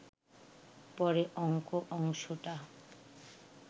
পরে অঙ্ক অংশটা